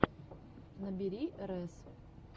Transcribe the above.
набери рэс